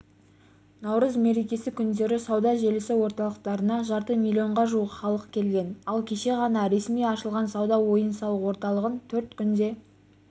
наурыз мерекесі күндері сауда желісі орталықтарына жарты миллионға жуық халық келген ал кеше ғана ресми ашылған сауда ойын-сауық орталығын төрт күнде